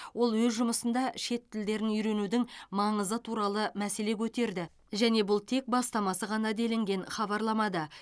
ол өз жұмысында шет тілдерін үйренудің маңызы туралы мәселе көтерді және бұл тек бастамасы ғана делінген хабарламада